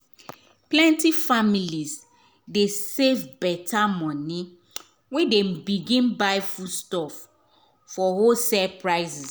plenty families dey save better money when dem begin buy foodstuff for wholesale places.